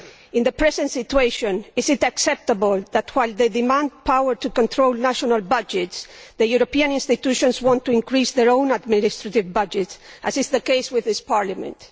In the present situation, is it acceptable that, while they demand power to control national budgets, the European institutions want to increase their own administrative budgets, as is the case with this Parliament?